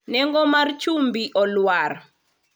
nengo mar chumbi olwar